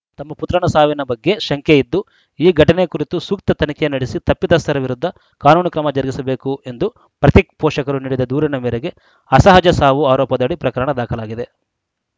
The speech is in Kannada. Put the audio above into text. ತಮ್ಮ ಪುತ್ರನ ಸಾವಿನ ಬಗ್ಗೆ ಶಂಕೆ ಇದ್ದು ಈ ಘಟನೆ ಕುರಿತು ಸೂಕ್ತ ತನಿಖೆ ನಡೆಸಿ ತಪ್ಪಿತಸ್ಥರ ವಿರುದ್ಧ ಕಾನೂನು ಕ್ರಮ ಜರುಗಿಸಬೇಕು ಎಂದು ಪ್ರತೀಕ್‌ ಪೋಷಕರು ನೀಡಿದ ದೂರಿನ ಮೇರೆಗೆ ಅಸಹಜ ಸಾವು ಆರೋಪದಡಿ ಪ್ರಕರಣ ದಾಖಲಾಗಿದೆ